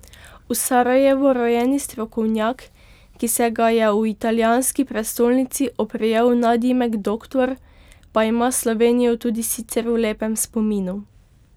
V Sarajevu rojeni strokovnjak, ki se ga je v italijanski prestolnici oprijel nadimek Doktor, pa ima Slovenijo tudi sicer v lepem spominu.